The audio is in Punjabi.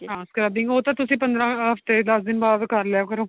ਹਾਂ scrubbing ਉਹ ਤਾਂ ਤੁਸੀਂ ਪੰਦਰਾ ਹਫਤੇ ਦੱਸ ਦਿਨ ਬਾਅਦ ਕ਼ਰ ਲਿਆ ਕਰੋ